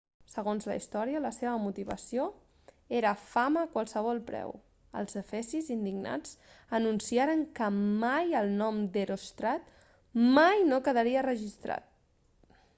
segons la història la seva motivació era fama a qualsevol preu els efesis indignats anunciaren que mai el nom d'heròstrat mai no quedaria registrat